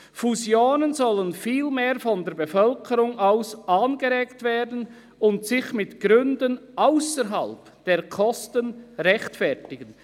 Fusionen sollen vielmehr von der Bevölkerung aus angeregt werden und sich mit Gründen ausserhalb der Kosten rechtfertigen.»